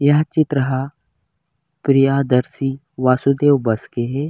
यह चित्र ह प्रियदर्शी वासुदेव बस के हे।